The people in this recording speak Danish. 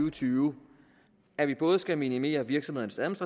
og tyve at vi både skal minimere virksomhedernes